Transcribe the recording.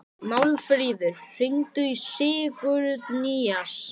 Málfríður, hringdu í Sigurnýjas.